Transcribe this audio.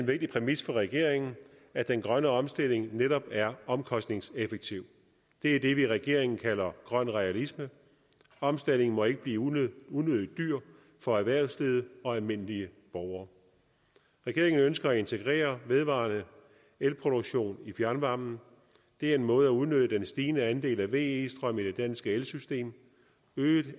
en vigtig præmis for regeringen at den grønne omstilling netop er omkostningseffektiv det er det vi i regeringen kalder grøn realisme omstillingen må ikke blive unødig unødig dyr for erhvervslivet og almindelige borgere regeringen ønsker at integrere vedvarende el produktion i fjernvarmen det er en måde at udnytte den stigende andel af ve strøm i det danske elsystem øget